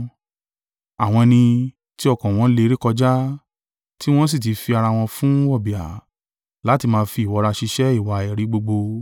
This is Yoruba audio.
Àwọn ẹni tí ọkàn wọn le rékọjá, tí wọ́n sì ti fi ara wọn fún wọ̀bìà, láti máa fi ìwọra ṣiṣẹ́ ìwà èérí gbogbo.